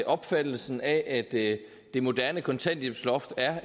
opfattelsen af at det det moderne kontanthjælpsloft er